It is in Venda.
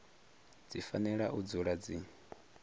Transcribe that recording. dzi fanela u dzula dzi